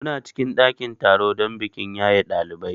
Muna cikin ɗakin taro don bikin yaye ɗalibai.